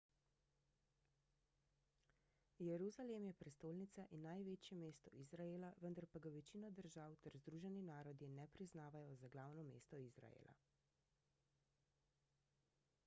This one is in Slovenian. jeruzalem je prestolnica in največje mesto izraela vendar pa ga večina držav ter združeni narodi ne priznavajo za glavno mesto izraela